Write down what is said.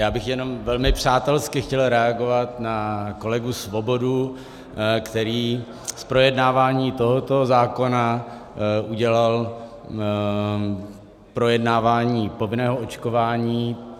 Já bych jenom velmi přátelsky chtěl reagovat na kolegu Svobodu, který z projednávání tohoto zákona udělal projednávání povinného očkování.